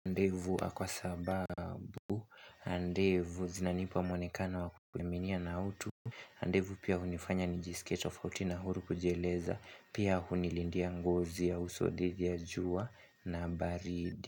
Ndevu kwa sababu, ndevu zinanipa mwonekano wa kukuminia na utu ndevu pia hunifanya nijisike tofauti na huru kujieleza, pia hunilindia ngozi ya uso dhidi ya jua na baridi.